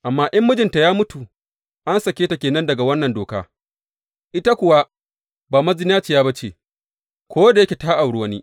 Amma in mijinta ya mutu, an sake ta ke nan daga wannan doka, ita kuwa ba mazinaciya ba ce, ko da yake ta auri wani.